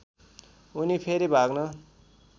उनी फेरि भाग्न